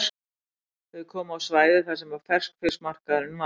Þau komu á svæðið þar sem ferskfiskmarkaðurinn var.